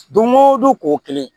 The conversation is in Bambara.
Don go don ko kelen